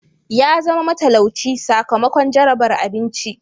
Ya zama matalauci sakamakon jarabar abinci.